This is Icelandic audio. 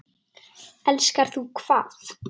Elskar þú hvað?